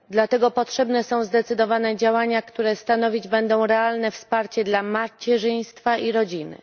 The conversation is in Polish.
Dlatego potrzebne są zdecydowane działania, które stanowić będą realne wsparcie dla macierzyństwa i rodziny.